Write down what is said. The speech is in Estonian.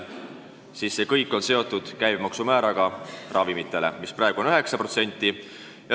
See kõik on seotud ravimite käibemaksu määraga, mis praegu on 9%.